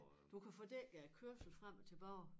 Du kan få dækket æ kørsel frem og tilbage